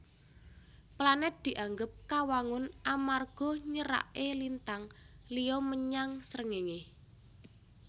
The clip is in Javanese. Planèt dianggep kawangun amarga nyeraké lintang liya menyang Srengéngé